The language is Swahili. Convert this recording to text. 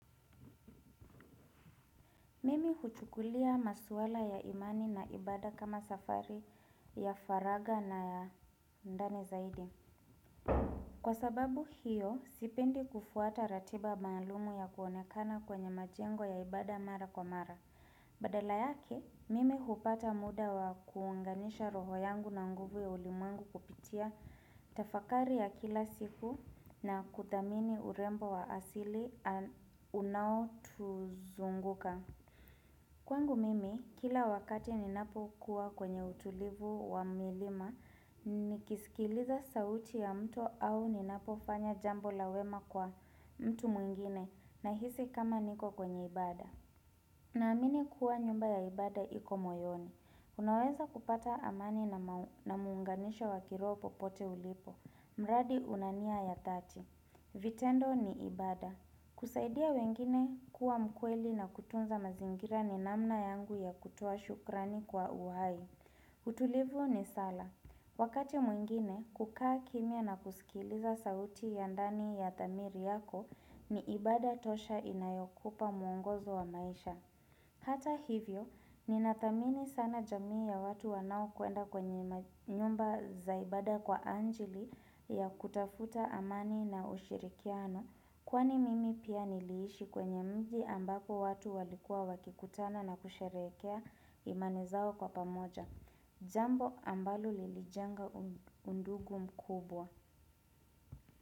Mimi huchukulia maswala ya imani na ibada kama safari ya faraga na ya ndani zaidi. Kwa sababu hiyo, sipendi kufuata ratiba maalumu ya kuonekana kwenye majengo ya ibada mara kwa mara. Badala yake, mimi hupata muda wa kuunganisha roho yangu na nguvu ya ulimwengu kupitia tafakari ya kila siku na kuthamini urembo wa asili unao tuzunguka. Kwangu mimi, kila wakati ninapo kuwa kwenye utulivu wa milima, nikisikiliza sauti ya mto au ninapo fanya jambo lawema kwa mtu mwingine na hisi kama niko kwenye ibada. Na amini kuwa nyumba ya ibada iko moyoni. Unaweza kupata amani na muunganisho wa kiroho popote ulipo. Mradi una nia ya thati. Vitendo ni ibada. Kusaidia wengine kuwa mkweli na kutunza mazingira ni namna yangu ya kutoa shukrani kwa uhai. Utulivu ni sala. Wakati mwingine kukaa kimia na kusikiliza sauti ya ndani ya thamiri yako, ni ibada tosha inayokupa muongozo wa maisha. Hata hivyo, ninathamini sana jamii ya watu wanao kuenda kwenye nyumba za ibada kwa anjili ya kutafuta amani na ushirikiano. Kwani mimi pia niliishi kwenye mji ambapo watu walikua wakikutana na kusherehekea imani zao kwa pamoja. Jambo ambalo lilijenga undugu mkubwa.